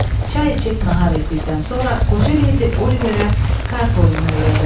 Çay içib nahar etdikdən sonra qoca leydi Oliverə kart oyununu öyrədərdi.